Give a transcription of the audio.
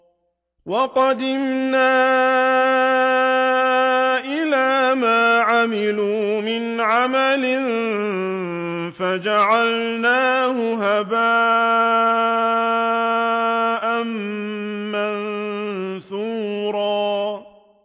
وَقَدِمْنَا إِلَىٰ مَا عَمِلُوا مِنْ عَمَلٍ فَجَعَلْنَاهُ هَبَاءً مَّنثُورًا